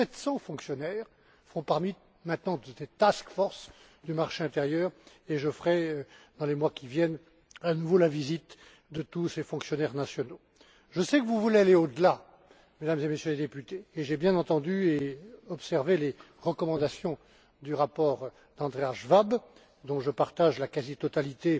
Près de 700 fonctionnaires font partie maintenant de cette task force du marché intérieur et je renouvellerai dans les mois qui viennent ma visite à tous ces fonctionnaires nationaux. Je sais que vous voulez aller au delà, Mesdames et Messieurs les Députés, et j'ai bien entendu et observé les recommandations du rapport d'Andreas Schwab, dont je partage la quasi totalité